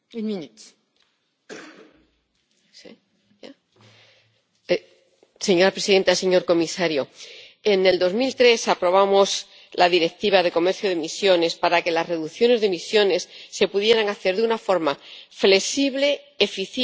Señora presidenta, señor comisario, en 2003 aprobamos la Directiva de comercio de emisiones para que las reducciones de emisiones se pudieran hacer de una forma flexible, eficiente y sin exponer nuestra industria a la competencia desleal de terceros países.